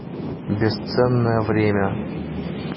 бесценное время